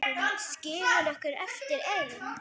Skilur okkur eftir ein.